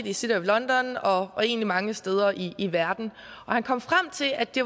i city of london og egentlig mange steder i verden han kom frem til at det